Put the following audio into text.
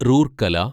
Rourkela